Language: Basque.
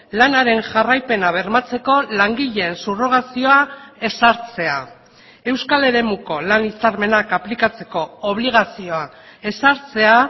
lanaren jarraipena bermatzeko langileen subrogazioa ezartzea euskal eremuko lan hitzarmenak aplikatzeko obligazioa ezartzea